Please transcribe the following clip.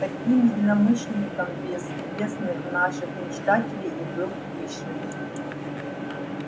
таким единомышленником безвестных наших мечтателей и был пришвин